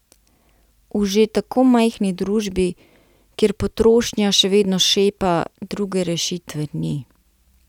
V že tako majhni družbi, kjer potrošnja še vedno šepa, druge rešitve ni.